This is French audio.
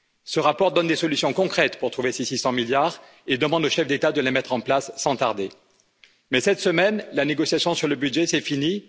Ce rapport donne des solutions concrètes pour trouver ces 600 milliards et demande aux chefs d'État de les mettre en place, sans tarder. Mais cette semaine, la négociation sur le budget s'est finie.